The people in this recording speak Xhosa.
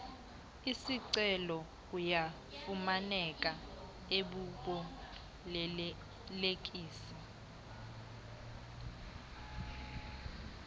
esicelo ayafumaneka kubabolekisi